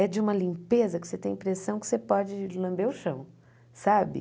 É de uma limpeza que você tem a impressão que você pode lamber o chão, sabe?